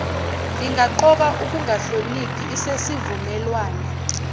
lingaqoka ukungahloniphi isesivumelwane